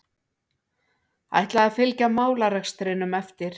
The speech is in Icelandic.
Ætla að fylgja málarekstrinum eftir